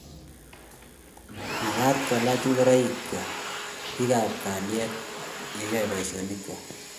mekat kokiilach ngoraikwak biikab kalyet ya yoe boisionik.